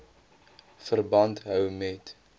verband hou met